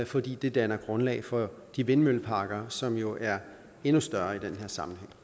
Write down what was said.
fordi det danner grundlag for de vindmølleparker som jo er endnu større i den her sammenhæng